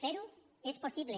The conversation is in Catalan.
fer ho és possible